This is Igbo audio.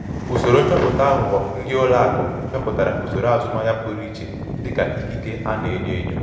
usoro nchọpụta aghụghọ ndị ụlọ akụ chọpụtara usoro azụmaahịa pụrụ iche dịka ikike a na-enyo enyo. enyo.